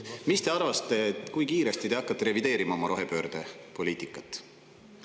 Mis te arvate, kui kiiresti te hakkate revideerima oma rohepöördepoliitikat?